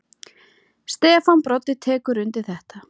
Stefán Broddi tekur undir þetta.